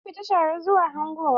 Sun fita tare zuwa hangowa.